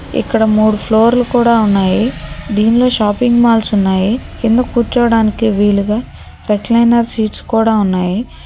ఇక్కడ మూడు ఫ్లోర్లు కూడా ఉన్నాయి దీనిలో షాపింగ్ మాల్స్ ఉన్నాయి కింద కూర్చోవడానికి వీలుగా పెట్లైనా సీట్స్ కూడా ఉన్నాయి.